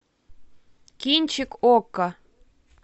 кинчик окко